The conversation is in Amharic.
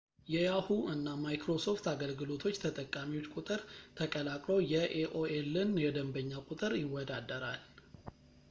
የyahoo! እና microsoft አገልግሎቶች ተጠቃሚዎች ቁጥር ተቀላቅሎ የaolን የደንበኛ ቁጥር ይወዳደረዋል